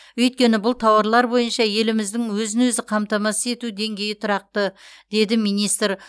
өйткені бұл тауарлар бойынша еліміздің өзін өзі қамтамасыз ету деңгейі тұрақты деді министр